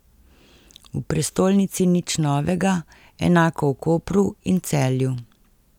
V prestolnici nič novega, enako v Kopru in Celju.